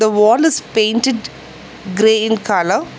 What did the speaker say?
The wall is painted green colour.